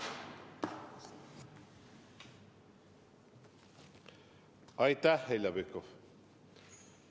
Aitäh, Heljo Pikhof!